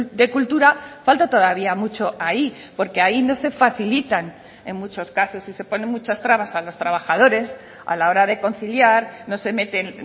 de cultura falta todavía mucho ahí porque ahí no se facilitan en muchos casos y se ponen muchas trabas a los trabajadores a la hora de conciliar no se meten